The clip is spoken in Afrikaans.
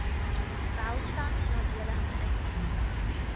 welstand nadelig beïnvloed